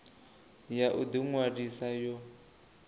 ya u ḓi ṅwalisa yo